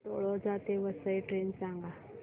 तळोजा ते वसई ट्रेन सांग